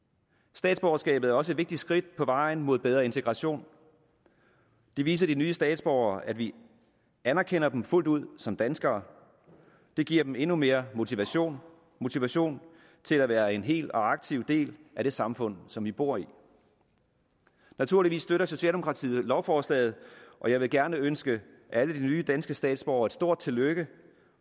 statsborgerskabet er også et vigtigt skridt på vejen mod bedre integration vi viser de nye statsborgere at vi anerkender dem fuldt ud som danskere det giver dem endnu mere motivation motivation til at være en hel og aktiv del af det samfund som de bor i naturligvis støtter socialdemokratiet lovforslaget og jeg vil gerne ønske alle de nye danske statsborgere et stort tillykke